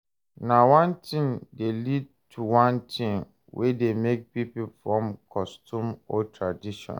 Na one thing de lead to one thing wey de make pipo form custom or tradition